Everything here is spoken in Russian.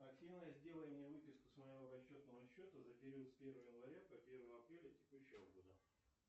афина сделай мне выписку с моего расчетного счета за период с первого января по первое апреля текущего года